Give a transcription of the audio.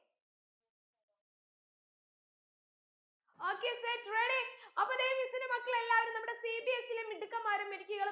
okay set ready അപ്പോ ദേ miss ന്റെ മക്കളെല്ലാരും നമ്മുടെ CBSE ലെ മിടുക്കന്മാരും മിടുക്കികളും